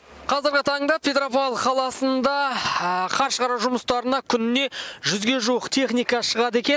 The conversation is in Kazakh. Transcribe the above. қазіргі таңда петропавл қаласында қар шығару жұмыстарына күніне жүзге жуық техника шығады екен